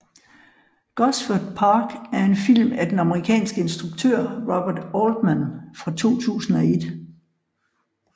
Gosford Park er en film af den amerikanske instruktør Robert Altman fra 2001